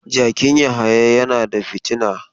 Jakin Yahaya yana da fitina.